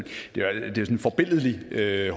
her er